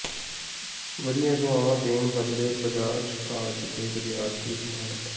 ਵਧੀਆਂ ਸੇਵਾਵਾ ਦੇਣ ਬਦਲੇ ਬਜਾਜ ਕਾਲਜ ਦੇ ਵਿਦਿਆਰਥੀ ਸਨਮਾਨਿਤ